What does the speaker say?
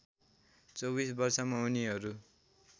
२४ वर्षमा उनीहरू